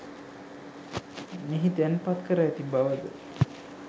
මෙහි තැන්පත් කර ඇති බව ද